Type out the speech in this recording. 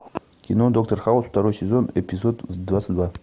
кино доктор хаус второй сезон эпизод двадцать два